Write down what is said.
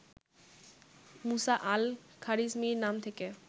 মুসা আল খারিজমীর নাম থেকে